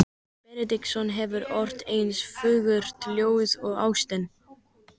Benediktsson hefur ort eins fagurt ljóð og ástin.